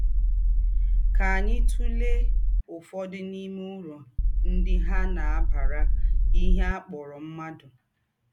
Kà ányị tùlè ọ̀fodụ̀ n’ìmé ūrù ńdị hà na - àbàrà ìhè à kpọ̀rọ̀ mmádụ.